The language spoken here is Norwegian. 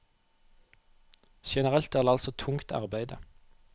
Generelt er det altså tungt arbeide.